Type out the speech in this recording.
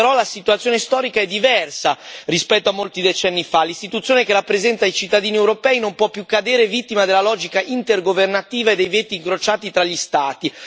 Oggi però la situazione storica è diversa rispetto a molti decenni fa l'Istituzione che rappresenta i cittadini europei non può più cadere vittima della logica intergovernativa dei veti incrociati tra gli Stati.